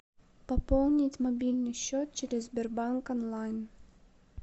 пополнить мобильный счет через сбербанк онлайн